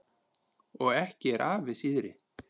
Og ekki er afi síðri.